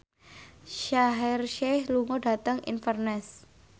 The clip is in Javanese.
Shaheer Sheikh lunga dhateng Inverness